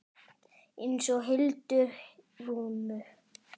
Eins og Hildi Rúnu.